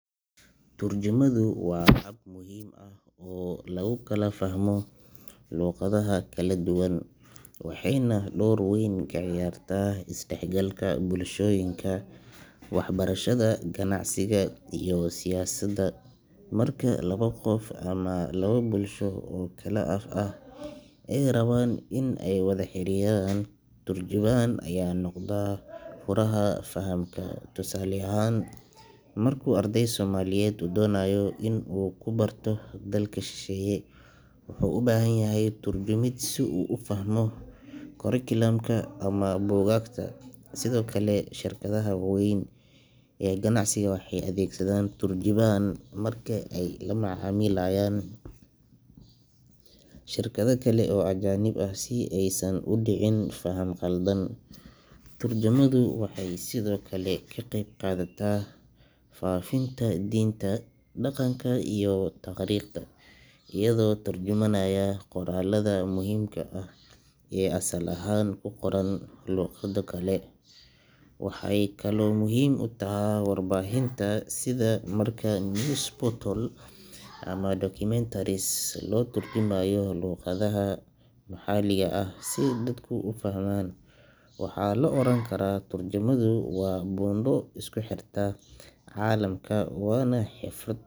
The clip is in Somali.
Turjumaadu waa hab muhiim ah oo lagu kala fahmo luqadaha kala duwan, waxayna door weyn ka ciyaartaa isdhexgalka bulshooyinka, waxbarashada, ganacsiga iyo siyaasadda. Marka labo qof ama laba bulsho oo kala af ah ay rabaan inay wada xiriiraan, turjubaan ayaa noqda furaha fahamka. Tusaale ahaan, marka arday Soomaaliyeed uu doonayo inuu wax ku barto dalka shisheeye, wuxuu u baahan yahay turjumid si uu u fahmo curriculum ka ama buugaagta. Sidoo kale, shirkadaha waaweyn ee ganacsiga waxay adeegsadaan turjubaan marka ay la macaamilayaan shirkado kale oo ajaanib ah si aysan u dhicin faham khaldan. Turjumaadu waxay sidoo kale ka qeyb qaadataa faafinta diinta, dhaqanka iyo taariikhda, iyadoo tarjumanaya qoraallada muhiimka ah ee asal ahaan ku qoran luqado kale. Waxay kaloo muhiim u tahay warbaahinta sida marka news reports ama documentaries loo turjumayo luqadaha maxalliga ah si dadku u fahmaan. Waxaa la oran karaa turjumaadu waa buundo isku xirta caalamka, waana xirfad.